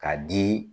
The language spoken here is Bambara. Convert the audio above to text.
K'a di